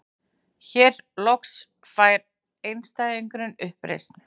Hér loks fær einstæðingurinn uppreisn.